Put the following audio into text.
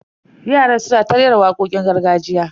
Yaran suna ta rera wakokin gargajiya.